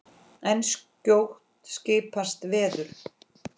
En skjótt skipast veður.